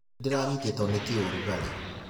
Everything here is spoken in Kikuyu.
Nĩ ndĩranyitĩtwo nĩ kĩũrugarĩ.